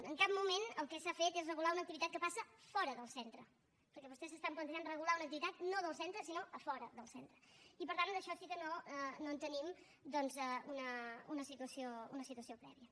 en cap moment el que s’ha fet és regular una activitat que passa fora del centre perquè vostès s’estan plantejant regular una activitat no del centre sinó a fora del centre i per tant en això sí que no tenim doncs una situació prèvia